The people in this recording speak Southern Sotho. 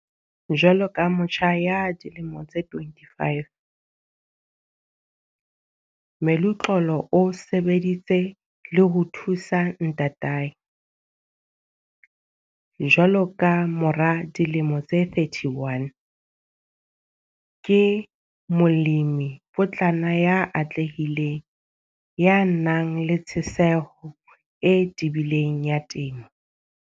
Jwalo ka motjha ya dilemo tse 25, Meluxolo o sebeditse le ho thusa ntatae. Jwale ka mora dilemo tse 31, ke molemipotlana ya atlehileng, ya nang le tjheseho e tebileng ya temo.